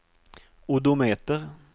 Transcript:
odometer